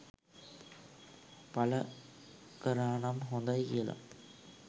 පල කරානම් හොඳයි කියල